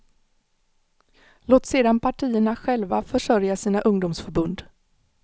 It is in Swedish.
Låt sedan partierna själva försörja sina ungdomsförbund.